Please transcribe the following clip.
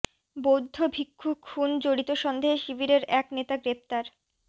বৌদ্ধ ভিক্ষু খুন জড়িত সন্দেহে শিবিরের এক নেতা গ্রেপ্তার